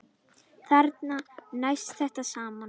Þarna næst þetta saman.